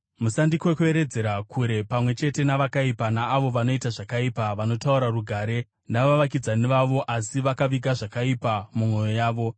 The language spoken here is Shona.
Musandikwekweredzera kure pamwe chete navakaipa, naavo vanoita zvakaipa, vanotaura rugare navavakidzani vavo asi vakaviga zvakaipa mumwoyo yavo.